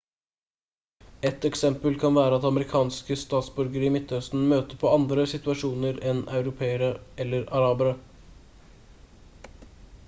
et eksempel kan være at amerikanske statsborgere i midtøsten møter på andre situasjoner enn europeere eller arabere